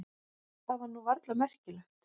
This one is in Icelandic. Það var nú varla merkjanlegt.